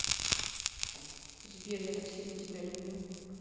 сбер я так сильно тебя люблю